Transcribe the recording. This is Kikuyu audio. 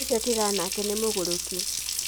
Ũcio tigana nake nĩ mũgũrũki.